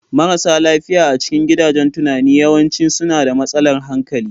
Marasa lafiya a cikin gidajen tunani yawanci suna da matsalar hankali.